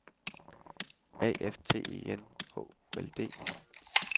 A F T E N H O L D